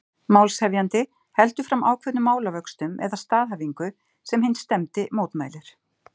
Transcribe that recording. Málshefjandi heldur fram ákveðnum málavöxtum eða staðhæfingu, sem hinn stefndi mótmælir.